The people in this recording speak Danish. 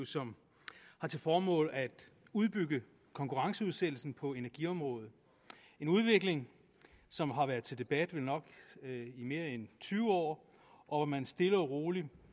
som har til formål at udbygge konkurrenceudsættelsen på energiområdet en udvikling som har været til debat vel nok i mere end tyve år og hvor man stille og roligt